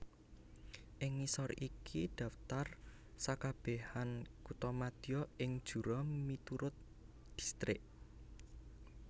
Ing ngisor iki dhaptar sakabehan kuthamadya ing Jura miurut distrik